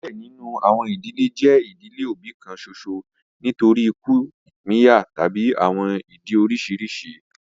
Diẹ ninu awọn idile jẹ idile obi kan ṣoṣo nitori iku, ipinya tabi awọn idi oriṣiriṣi